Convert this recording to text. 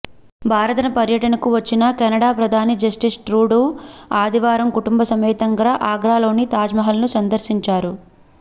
భారత పర్యటనకు వచ్చిన కెనడా ప్రధాని జస్టిన్ ట్రుడూ ఆదివారం కుటుంబ సమేతంగా ఆగ్రాలోని తాజ్మహాల్ను సందర్శించారు